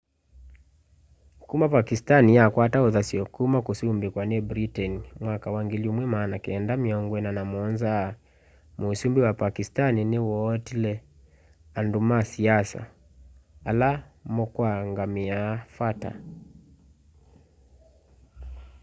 kuma pakistan yakwata uthasyo kuma kusumbikwa ni britain mwaka wa 1947 musumbi wa pakistan ni wootile andu ma siasa ala mukongamiia fata